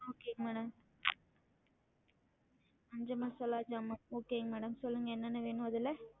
Okay madam மஞ்ச மசாலா ஜாமான் okay ங்க madam சொல்லுங்க என்னென்ன வேணும் அதுல